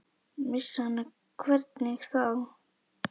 Missa hana, hvernig þá?